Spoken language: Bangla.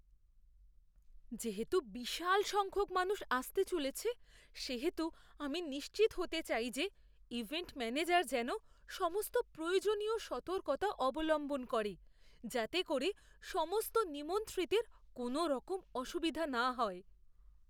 যেহেতু বিশাল সংখ্যক মানুষ আসতে চলেছে, সেহেতু আমি নিশ্চিত হতে চাই যে ইভেন্ট ম্যানেজার যেন সমস্ত প্রয়োজনীয় সতর্কতা অবলম্বন করে যাতে করে সমস্ত নিমন্ত্রিতের কোনওরকম অসুবিধা না হয়।